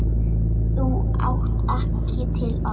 Þau áttu ekki til orð.